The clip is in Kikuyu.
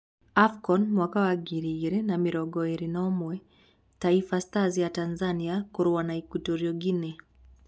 Afcon 2021: Taifa Stars ya Tanzania kũrũa na Equitorial Guinea